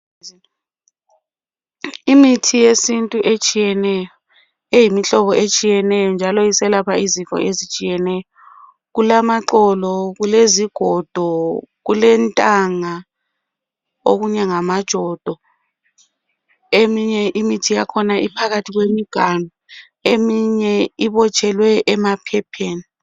Imithi yesintu etshiyeneyo, eyimihlobao etshiyeneyo, mjalo iselapha inhlobo ezitshiyeneyo. Kulamaxolo, kulezigodo kulentanga. Okunye ngamajodo.. Eminye imithi yakhona iphakathi kwemiganu. Eminye ibotshelwe emaphepheni.